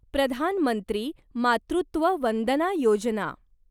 Pradhan Mantri Matritva Vandana Yojana